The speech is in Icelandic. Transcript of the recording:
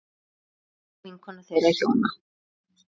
Einlæg vinkona þeirra hjóna.